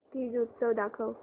तीज उत्सव दाखव